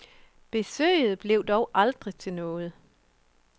Besøget blev dog aldrig til noget.